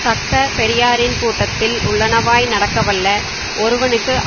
தக்க பெரியாரின் கூட்டத்தில் உள்ளனவாய் நடக்கவல்ல ஒருவனுக்கு